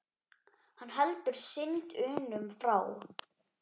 Hann heldur synd unum frá.